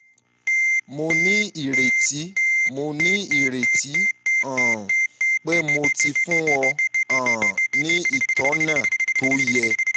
mo ní ìrètí mo ní ìrètí um pé mo ti fún ọ um ní ìtọ́nà tó yẹ